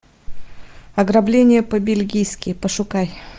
ограбление по бельгийски пошукай